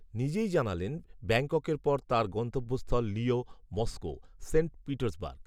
নিজেই জানালেন ব্যাঙ্ককের পর তাঁর, গন্তব্যস্থল লিয়ঁ, মস্কো, সেন্ট পিটার্সবার্গ